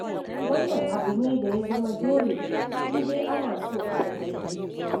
Wannan abu ne da ya zama dole in dai ana so a ga daidai.